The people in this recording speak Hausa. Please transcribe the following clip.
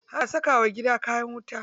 Ana saka wa gida kayan wuta.